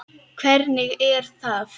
Hvernig er það?